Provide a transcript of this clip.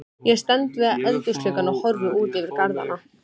Lyktina af brennisteinsvetni þekkja allir sem komið hafa á háhitasvæði.